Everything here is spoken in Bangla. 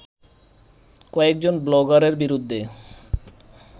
কয়েকজন ব্লগারের বিরুদ্ধে